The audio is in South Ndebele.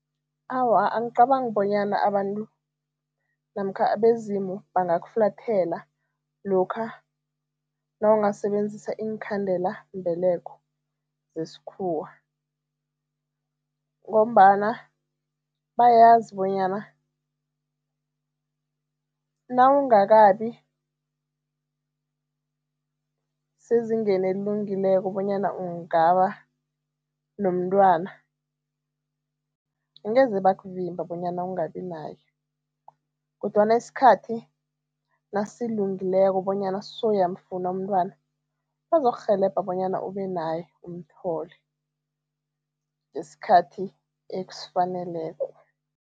Awa, angicabangi bonyana abantu namkha abezimu bangakufulathela lokha nawungasebenzisa iinkhandelambeleko zesikhuwa ngombana bayazi bonyana nawungakabi sezingeni elilungileko bonyana ungaba nomntwana, angeze bakuvimba bonyana ungabi naye kodwana isikhathi nasilungileko bonyana sowuyamfuna umntwana, bazokurhelebha bonyana ube naye, umthole ngesikhathi esifaneleko.